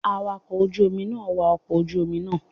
Awakọ̀ ojú Omi náà wa ọkọ̀ ojú Omi naa